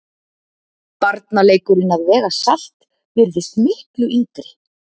Barnaleikurinn að vega salt virðist miklu yngri.